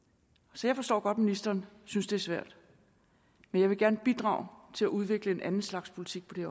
så jeg forstår godt ministeren synes det er svært men jeg vil gerne bidrage til at udvikle en anden slags politik på det